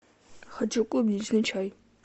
хочу клубничный чай